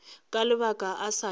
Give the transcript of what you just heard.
ka lebala o sa le